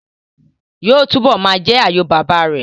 Yóò túbọ̀ ma jẹ́ àyò bàbá rẹ̀